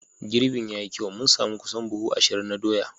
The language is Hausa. Girbin ya yi kyau, mun sami kusan buhu ashirin na doya.